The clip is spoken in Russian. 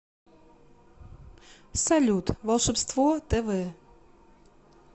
салют волшебство тэ вэ